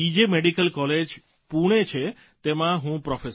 medical college Pune છે તેમાં હું પ્રોફેસર છું